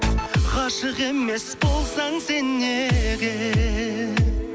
ғашық емес болсаң сен неге